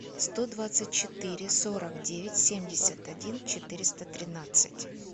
сто двадцать четыре сорок девять семьдесят один четыреста тринадцать